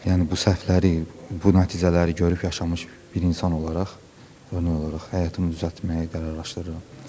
Yəni bu səhvləri, bu nəticələri görüb yaşamış bir insan olaraq örnək olaraq həyatımı düzəltməyi qərarlaşdırıram.